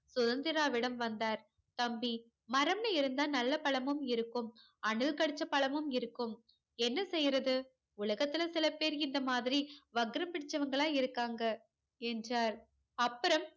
சுதந்திராவிடம் வந்தார் தம்பி மரம்னு இருந்த நல்ல பழமுன் இருக்கும் அணில் கடிச்ச பழமும் இருக்கும் என்ன செய்யறது உலகத்துல சிலபேர் இந்த மாதிரி வக்கிர புடிச்சவன்களா இருக்காங்க என்றார் அப்பறம்